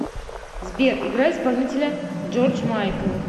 сбер играй исполнителя джордж майкл